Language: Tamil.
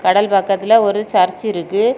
கடல் பக்கத்துல ஒரு சர்ச் இருக்கு.